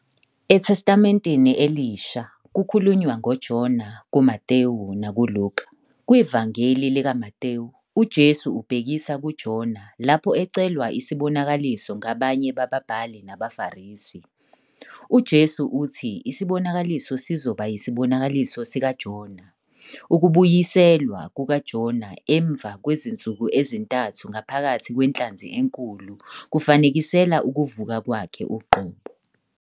ETestamenteni Elisha, kukhulunywa ngoJona kuMathewu nakuLuka. KwiVangeli likaMathewu, uJesu ubhekisa kuJona lapho ecelwa isibonakaliso ngabanye bababhali nabaFarisi. UJesu uthi isibonakaliso sizoba yisibonakaliso sikaJona - Ukubuyiselwa kukaJona emva kwezinsuku ezintathu ngaphakathi kwenhlanzi enkulu kufanekisela ukuvuka Kwakhe uqobo.